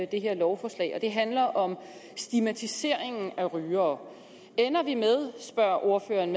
det her lovforslag og det handler om stigmatiseringen af rygere ender vi med spørger ordføreren